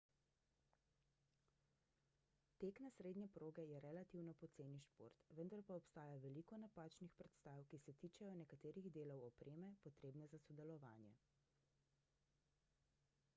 tek na srednje proge je relativno poceni šport vendar pa obstaja veliko napačnih predstav ki se tičejo nekaterih delov opreme potrebne za sodelovanje